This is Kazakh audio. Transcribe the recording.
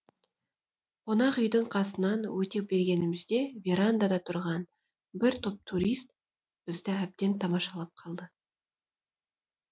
қонақ үйдің қасынан өте бергенімізде верандада тұрған бір топ турист бізді әбден тамашалап қалды